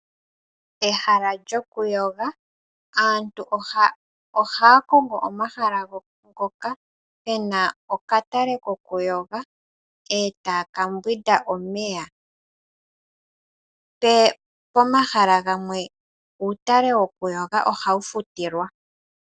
Ehala lyokuyoga. Aantu ohaya kongo omahala ngoka gena okatale kokuyoga eta ya ka yoga omeya. Pomahala gamwe uutale wokuyoga ohawu futilwa.